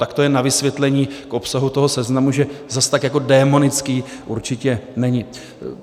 Tak to jen na vysvětlení k obsahu toho seznamu, že zas tak jako démonický určitě není.